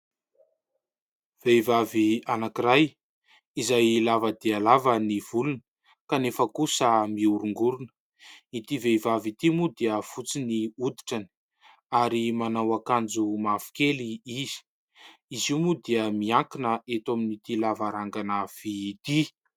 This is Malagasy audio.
Vehivavy anankiray izay lava dia lava ny volony kanefa kosa mihorongorona. Ity vehivavy ity moa dia fotsy ny hoditrany ary manao akanjo mavokely izy. Izy io moa dia miankina eto amin'ity lavarangana vy ity.